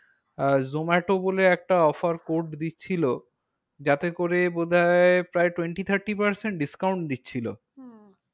আহ Zomato বলে একটা offer code দিচ্ছিল। যাতে করে বোধ হয় প্রায় twenty thirty percent discount দিচ্ছিলো। হম